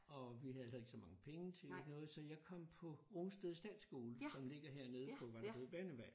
Og vi havde heller ikke så mange penge til noget så jeg kom på Rungsted statsskole som ligger hernede på Vallerød banvej